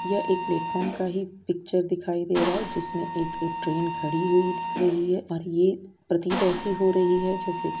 यह एक प्लेटफार्म का ही पिच्चर दिखाई दे रहा है जिसमे एक ट्रेन खड़ी हुई दिख रही है और ये प्रतीत ऐसी हो रही है जैसे की --